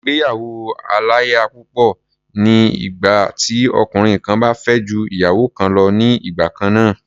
Ìgbéyàwó-aláya-púpọ̀ ni ìgbà tí ọkùnrin kan bá fẹ́ ju ìyàwó kan lọ ní igbà kan náà.